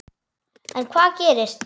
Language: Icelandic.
En hvað gerist.